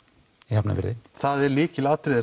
í Hafnarfirði það er lykilatriði